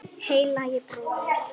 Heilagi bróðir!